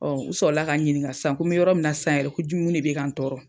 u sɔrɔla ka n ɲiniŋa san ko me yɔrɔ min na san yɛrɛ ko ju mun de bɛ ka n tɔɔrɔ?